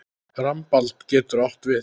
Rambald getur átt við